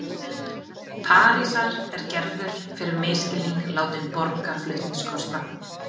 Parísar er Gerður fyrir misskilning látin borga flutningskostnað.